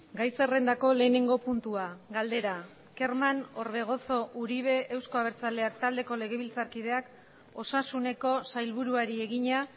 gai zerrendako lehenengo puntua galdera kerman orbegozo uribe euzko abertzaleak taldeko legebiltzarkideak osasuneko sailburuari egina